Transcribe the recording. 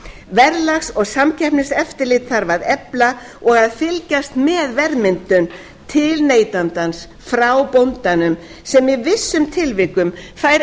verðlags og samkeppniseftirlit þarf að efla og að fylgjast með verðmyndun til neytandans frá bóndanum sem í vissum tilvikum fær